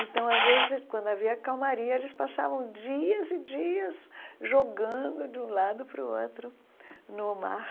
Então, às vezes, quando havia calmaria, eles passavam dias e dias jogando de um lado para o outro no mar.